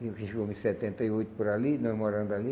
Chegou em setenta e oito por ali, nós morando ali.